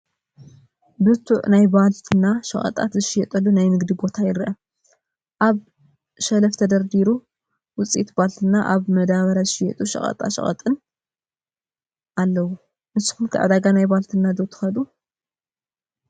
ብርቱዕ ናይ ባልትና ሸቐጣት ዝሽየጠሉ ናይ ንግዲ ቦታ ይረአ፡፡ ኣብ ሸልፍ ዝተፈርደሩ ውፅኢት ባልትናን ኣብ ብመዳበርያ ዝሽየጡ ሸቐጣሸቐጥን ኣለው፡፡ ንስኹም ከ ዕዳጋ ናይ ባልትና ዶ ትኸዱ?